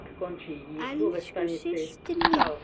Elsku systir mín.